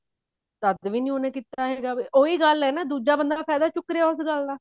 ਤਦ ਵੀ ਉਹਨੇ ਕੀਤਾ ਹੈਗਾ ਉਹੀ ਗੱਲ ਹੈ ਨਾ ਦੂਜਾ ਬੰਦਾ ਫਾਇਦਾ ਚੁੱਕ ਰਿਹਾ ਇਸ ਗੱਲ ਦਾ